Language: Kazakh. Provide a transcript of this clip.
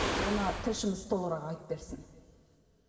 оны тілшіміз толығырақ айтып берсін